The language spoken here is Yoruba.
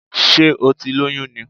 Sé o ti lóyún ni?